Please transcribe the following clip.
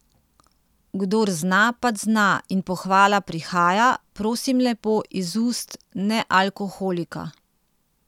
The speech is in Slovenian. Kdor zna, pač zna in pohvala prihaja, prosim lepo, iz ust nealkoholika!